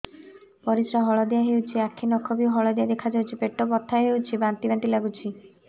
ପରିସ୍ରା ହଳଦିଆ ହେଉଛି ଆଖି ନଖ ବି ହଳଦିଆ ଦେଖାଯାଉଛି ପେଟ ବଥା ହେଉଛି ବାନ୍ତି ବାନ୍ତି ଲାଗୁଛି